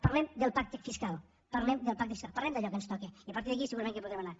parlem del pacte fiscal parlem del pacte fiscal parlem d’allò que ens toca i a partir d’aquí segurament que podrem anar